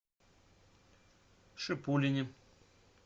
шипулине